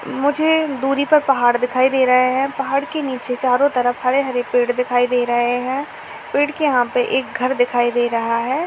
मुझे दूरी पर पहाड़ दिखाई दे रहे हैं। पहाड़ के नीचे चारों तरफ हरे-हरे पेड़ दिखाई दे रहे हैं। पेड़ के यहां पे एक घर दिखाई दे रहा है।